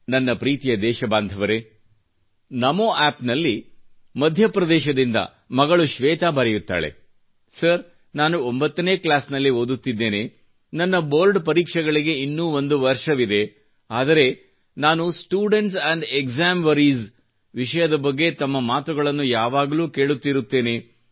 ನನ್ನ ಪ್ರೀತಿಯ ದೇಶಬಾಂಧವರರೆ ನಮೊ ಯ್ಯಾಪ್ ನಲ್ಲಿ ಮಧ್ಯಪ್ರದೇಶದಿಂದ ಮಗಳು ಶ್ವೇತಾ ಬರೆಯುತ್ತಾಳೆ ಸರ್ ನಾನು 9ನೇ ಕ್ಲಾಸಿನಲ್ಲಿ ಓದುತ್ತಿದ್ದೇನೆ ನನ್ನ ಬೋರ್ಡ ಪರೀಕ್ಷೆಗಳಿಗೆ ಇನ್ನೂ ಒಂದು ವರ್ಷವಿದೆ ಆದರೆ ನಾನು ಸ್ಟೂಡೆಂಟ್ಸ ಎಂಡ್ ಎಗ್ಜಾಮ್ ವರೀಜ್ ವಿಷಯದ ಬಗ್ಗೆ ತಮ್ಮ ಮಾತುಗಳನ್ನು ಯಾವಾಗಲೂ ಕೇಳುತ್ತಿರುತ್ತೇನೆ